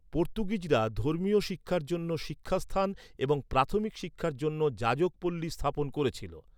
পর্তুগিজরা ধর্মীয় শিক্ষার জন্য শিক্ষাস্থান এবং প্রাথমিক শিক্ষার জন্য যাজকপল্লী স্থাপন করেছিল।